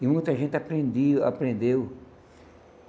E muita gente aprendia aprendeu.